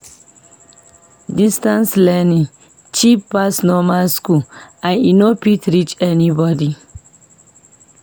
Distance learning cheap pass normal school and e fit reach anybody.